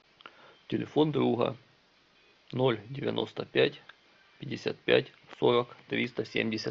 телефон друга ноль девяносто пять пятьдесят пять сорок триста семьдесят